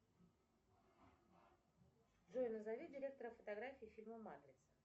джой назови директора фотографии фильма матрица